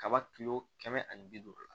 Kaba kilo kɛmɛ ani bi duuru la